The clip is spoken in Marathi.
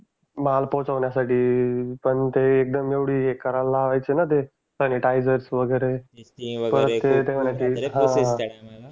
माल पोहोचवण्यासाठी पण ते एकदम एवढी हे करायला लावायचे ना ते सॅनिटायझर वगैरे